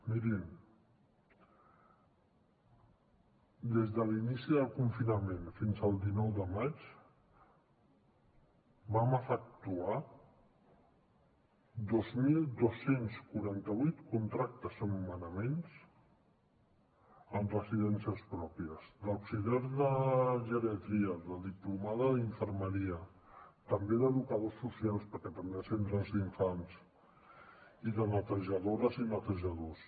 mirin des de l’inici del confinament fins al dinou de maig vam efectuar dos mil dos cents i quaranta vuit contractes o nomenaments en residències pròpies d’auxiliar de geriatria de diplomada d’infermeria també d’educadors socials perquè també hi ha centres d’infants i de netejadores i netejadors